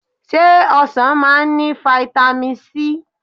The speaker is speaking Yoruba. se osan maa n ni vitami sii?